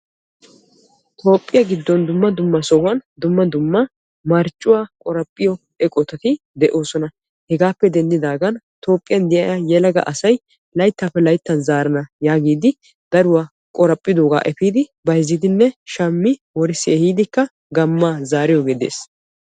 toophiya giddon dumma dumma sohuwan dumma dumma marccuwaa qoraphphiyo eqotatti de'oosona. hegappe denddiaagan Tophiyan de'iyaa yelaga asay layttappe layttan zaarana yaagidi daruwaa qoraphphidooga efiidi bayzziidinne shammi woriis ehiidi gamma zaariyooge de'ees.